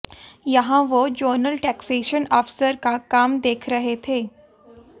यहां वह zonal taxation अफसर का काम देख रहे थे